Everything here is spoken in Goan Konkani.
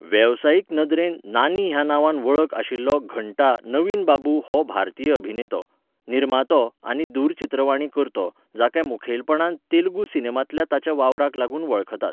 वेवसायीक नदरेन नानी ह्या नांवान वळख आशिल्लो घण्टा नवीन बाबू हो भारतीय अभिनेतो, निर्मातो आनी दूरचित्रवाणी कर्तो जाका मुखेलपणान तेलुगू सिनेमांतल्या ताच्या वावराक लागून वळखतात.